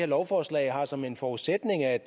lovforslag har som en forudsætning at